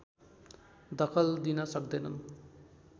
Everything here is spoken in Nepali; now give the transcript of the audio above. दखल दिन सक्दैनन्